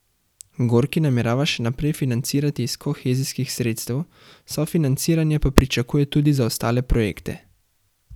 Gorki namerava še naprej financirati iz kohezijskih sredstev, sofinanciranje pa pričakuje tudi za ostale projekte.